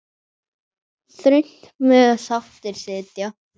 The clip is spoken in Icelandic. Þröngt mega sáttir sitja.